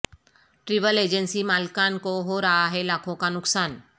travel agency مالکان کو ہورہا ہے لاکھوں کا نقصان